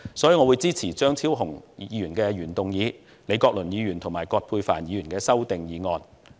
所以，我支持張超雄議員的原議案，以及李國麟議員和葛珮帆議員的修正案。